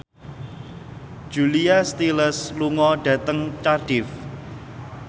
Julia Stiles lunga dhateng Cardiff